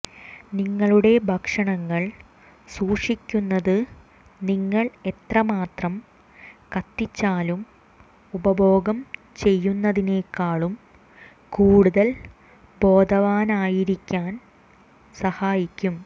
നിങ്ങളുടെ ഭക്ഷണങ്ങൾ സൂക്ഷിക്കുന്നത് നിങ്ങൾ എത്രമാത്രം കത്തിച്ചാലും ഉപഭോഗം ചെയ്യുന്നതിനേക്കാളും കൂടുതൽ ബോധവാനായിരിക്കാൻ സഹായിക്കും